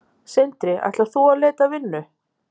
Sindri: Ætlar þú út að leita að vinnu?